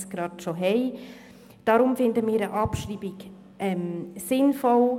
Deshalb finden wir eine Abschreibung sinnvoll.